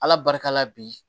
Ala barika la bi